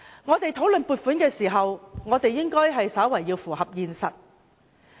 我們討論撥款時，應要符合現實。